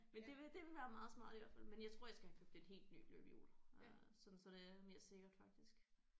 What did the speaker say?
Men det vil det ville være meget smart i hvert fald men jeg tror jeg skal have købt et helt nyt løbehjul øh sådan så det er mere sikkert faktisk